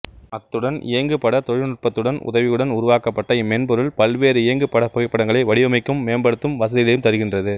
அத்துடன் இயங்குபடத் தொழில்நுட்பத்தின் உதவியுடன் உருவாக்கப்பட்ட இம்மென்பொருள் பல்வேறு இயங்குபடப் புகைப்படங்களை வடிவமைக்கும் மேம்படுத்தும் வசதிகளையும் தருகின்றது